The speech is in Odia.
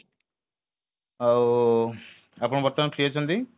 ଆଉ ଆପଣ ବର୍ତ୍ତମାନ free ଅଛନ୍ତି